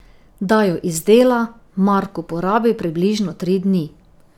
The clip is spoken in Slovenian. Da jo izdela, Marko porabi približno tri dni.